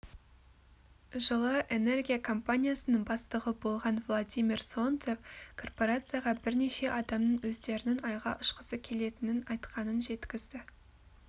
жылы энергия компаниясының бастығы болған владимир солнцев корпорацияға бірнеше адамның өздерінің айға ұшқысы келетінін айтқанын жеткізді